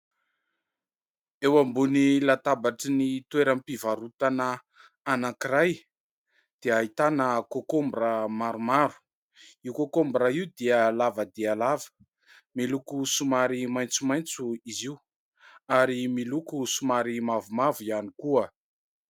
Eo ambony latabatry ny toeram-pivarotana anankiray dia ahitana '' cocombre'' maromaro, io ''cocombre'' io dia lava dia lava miloko somary maitsomaitso izy io ary miloko somary mavomavo ihany koa.